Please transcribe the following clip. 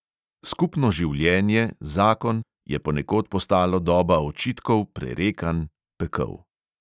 Skupno življenje, zakon, je ponekod postalo doba očitkov, prerekanj, pekel.